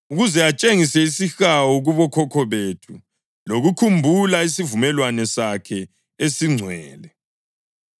ukuze atshengise isihawu kubokhokho bethu lokukhumbula isivumelwano sakhe esingcwele,